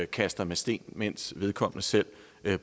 kaster med sten mens vedkommende selv